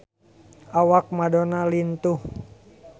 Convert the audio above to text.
Awak Madonna lintuh